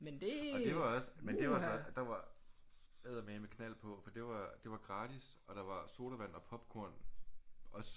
Og det var også men det var så der var eddermandme knald på for det var det var gratis og der var sodavand og popcorn også